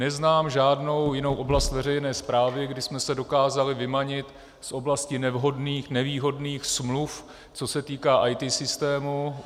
Neznám žádnou jinou oblast veřejné správy, kdy jsme se dokázali vymanit z oblasti nevhodných, nevýhodných smluv, co se týká IT systému.